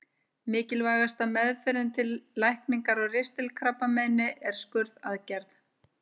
Mikilvægasta meðferðin til lækningar á ristilkrabbameini er skurðaðgerð.